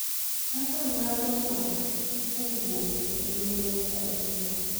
kaka ng’ado ng’ato kowuok e ngima nyaka e tuwo.